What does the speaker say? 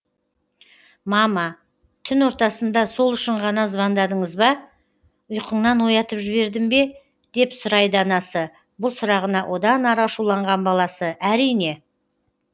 мама түн ортасында сол үшін ғана звондадыңыз ба ұйқыңнан оятып жібердім бе деп сұрайды анасы бұл сұрағына одан ары ашуланған баласы әрине